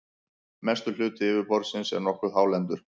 mestur hluti yfirborðsins er nokkuð hálendur